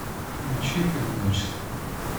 включи одиночество